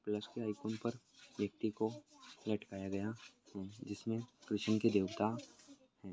Plus के icon पर व्यक्ति को लटकाया गया है जिसमे खिश्चन के देवता है।